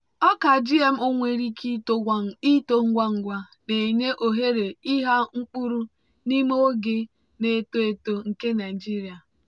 ọka gmo nwere ike ito ngwa ngwa na-enye ohere ịgha mkpụrụ n'ime oge na-eto eto nke nigeria.